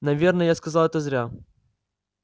наверное я сказал это зря